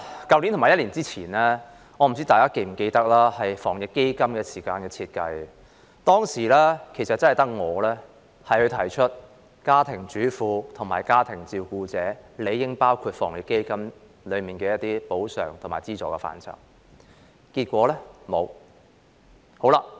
代理主席，我不知道大家是否記得，在去年防疫抗疫基金設計之時，只有我提出家庭主婦和家庭照顧者理應納入防疫抗疫基金的補償和資助範圍，但結果沒有。